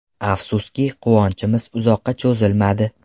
Afsuski, quvonchimiz uzoqqa cho‘zilmadi.